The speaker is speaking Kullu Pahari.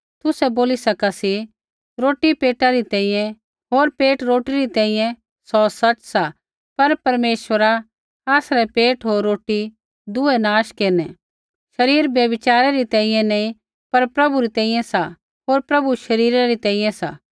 तुसै बोली सका सी रोटी पेटा री तैंईंयैं होर पेट रोटी री तैंईंयैं सौ सच़ सा पर परमेश्वरा आसरै पेट होर रोटी दुऐ नाश केरनै शरीर व्यभिचारे री तैंईंयैं नी पर प्रभु री तैंईंयैं सा होर प्रभु शरीरै री तैंईंयैं सा